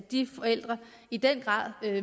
de forældre i den grad